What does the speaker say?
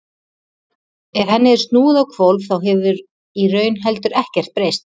ef henni er snúið á hvolf þá hefur í raun heldur ekkert breyst